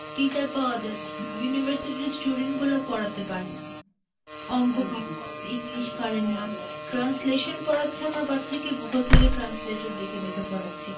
teacher পাওয়া যাচ্ছে না, university র student গুলো পড়াতে পারেনা. অংক , english পারেনা, translation পড়াচ্ছে আমার বাচ্চাকে, Google থেকে translator দেখে দেখে পড়াচ্ছে,